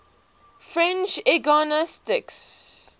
french eugenicists